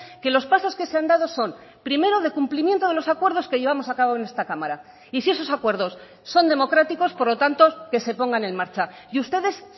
que los pasos que se han dado son primero de cumplimiento de los acuerdos que llevamos a cabo en esta cámara y si esos acuerdos son democráticos por lo tanto que se pongan en marcha y ustedes